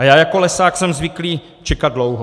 A já jako lesák jsem zvyklý čekat dlouho.